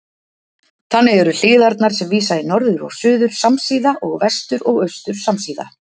Þannig eru hliðarnar sem vísa í norður og suður samsíða og vestur og austur samsíða.